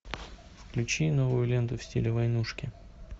включи новую ленту в стиле войнушки